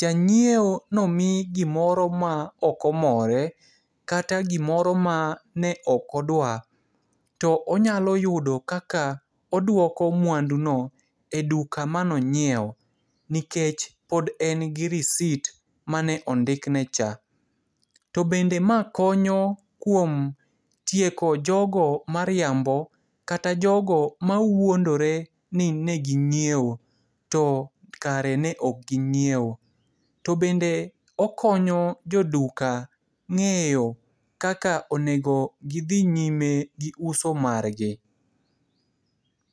jang'ieo nomi gimoro ma okomore, kata gimoro ma ne okodwa. To onyalo yudo kaka odwoko mwanduno e duka manong'ieo, nikech pod en gi risit mane ondikne cha. To bende mae konyo kuom tieko jogo mariambo, kata jogo mawuondore ni negi ng'ieo, to kare no okgi ng'ieo. To bende okonyo joduka ng'eyo kaka onego gidhi nyime gi uso margi.